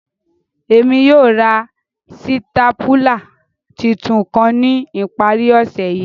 Emi yóò ra sitapula titun kan ni ìparí ọse yi.